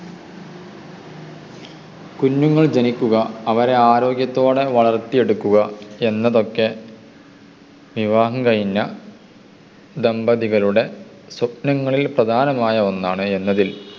കുഞ്ഞുങ്ങൾ ജനിക്കുക അവരെ ആരോഗ്യത്തോടെ വളർത്തിയെടുക്കുക എന്നതൊക്കെ വിവാഹം കഴിഞ്ഞ ദമ്പതികളുടെ സ്വപ്നങ്ങളിൽ പ്രധാനമായ ഒന്നാണ് എന്നതിൽ ആർക്കും സംശയമില്ല.